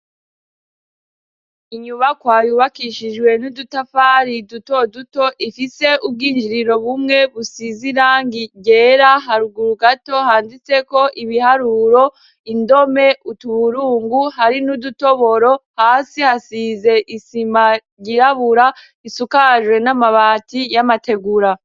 Inyubakwa yubakishijwe n'udutafari duto duto ifise ubwinjiriro bumwe busize irangi ryera haruguru gato handitseko ibiharuro, indome, utuburungu hari n'udutoboro, hasi hasize isima ryirabura isakajwe n'amabati y'amategura.